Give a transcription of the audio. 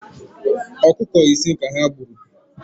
Ọkụkọ ise ka ha gburu